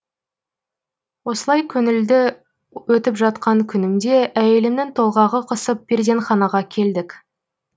осылай көңілді өтіп жатқан күнімде әйелімнің толғағы қысып перзентханаға келдік